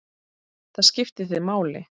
Það skipti þig máli.